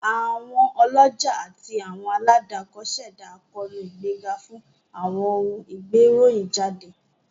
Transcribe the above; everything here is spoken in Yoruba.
Àwọn ọlọ́jà àti àwọn aládàkọ ṣẹdá àkóónú ìgbéga fún àwọn ohun ìgbéròyìn jáde